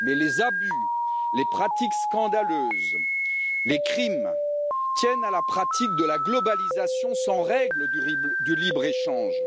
En fait, les abus, les pratiques scandaleuses, les crimes tiennent à la pratique de la globalisation sans règle du libre échange,